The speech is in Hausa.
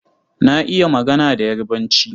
Na iya magana da Yarbanci.